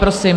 Prosím.